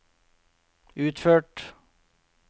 utført